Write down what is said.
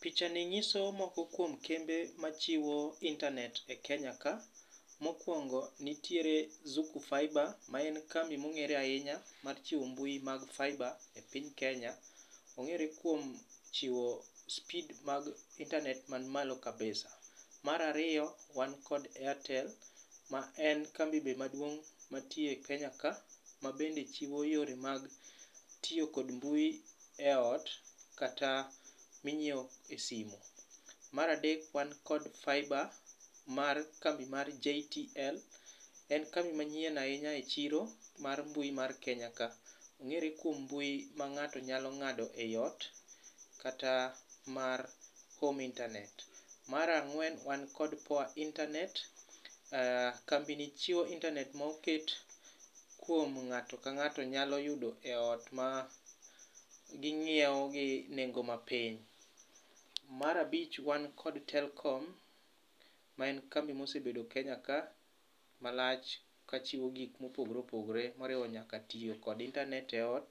picha ni nyiso moko kuom kembe machiwo intanet e Kenya ka, mokuongo nitiere Zuku Faiba ma en kambi ma ong'ere ahinya mar chiwo mbui mag Faiba e piny Kenya , Ong'ere kuom chiwo speed mar intanet man malo kabisa. Mar ariyo wan kod airtel ma en kambi be maduong' mantie e Kenya ka mabende chiwo yore mag tiyo kod mbui eot, kata ma inyiewo e simu. Mar adek wan kod faiba mar kambi mar JTL, en kambi manyien ahinya e chiro mar mbui mar Kenya ka. Ong'ere kuom mbui ma ng'ato nyalo ng'ado eiot kata mar homei nternet. Mar ang'wen, wan kod Poa internet. Kambini chiwo intanet ma oket kuom ng'ato ka ng'ato nyalo yudo eot ma ging'iewo gi nengo mapiny. Mar abich wan kod Telekom ma en kambi ma osebedo e Kenya ka malach kachiwo gik ma opogore opogore mariwo nyaka tiyo gi intanet iot.